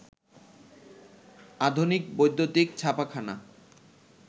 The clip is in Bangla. আধুনিক বৈদ্যুতিক ছাপাখানা